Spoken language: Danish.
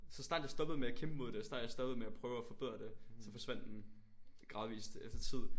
Så snart jeg stoppede med at kæmpe mod det og så snart jeg stoppede med at prøve at forbedre det så forsvandt den gradvist efter tid